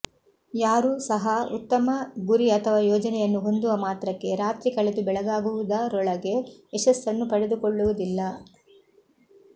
ಯಾರೂ ಸಹ ಉತ್ತಮ ಗುರಿ ಅಥವಾ ಯೋಜನೆಯನ್ನು ಹೊಂದುವ ಮಾತ್ರಕ್ಕೆ ರಾತ್ರಿ ಕಳೆದು ಬೆಳಗಾಗುವುದ ರೊಳಗೆ ಯಶಸ್ಸನ್ನು ಪಡೆದುಕೊಳ್ಳುವುದಿಲ್ಲ